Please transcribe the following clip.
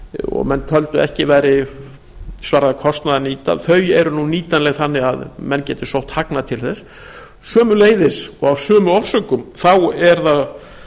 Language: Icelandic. og menn töldu að ekki svaraði kostnaði að nýta eru nú nýtanleg þannig að menn geti sótt hagnað til þess sömuleiðis og af sömu orsökum er